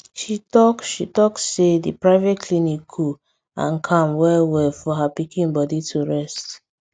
she talk she talk say the private clinic cool and calm well well for her pikin body to rest